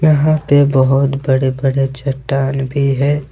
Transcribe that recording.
यहां पे बहोत बड़े बड़े चट्टान भी है।